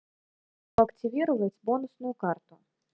активировать бонусную карту